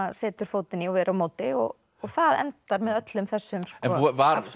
setur fótinn í og er á móti og það endar með öllum þessum